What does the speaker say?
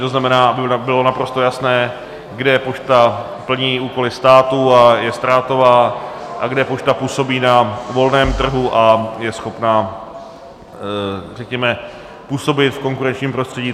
To znamená, aby bylo naprosto jasné, kde pošta plní úkoly státu a je ztrátová a kde pošta působí na volném trhu a je schopna řekněme působit v konkurenčním prostředí.